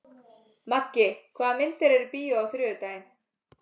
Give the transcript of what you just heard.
Maggi, hvaða myndir eru í bíó á þriðjudaginn?